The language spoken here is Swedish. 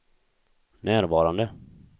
närvarande